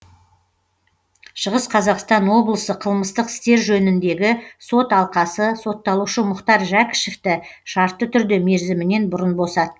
шығыс қазақстан облысы қылмыстық істер жөніндегі сот алқасы сотталушы мұхтар жәкішевті шартты түрде мерзімінен бұрын босатты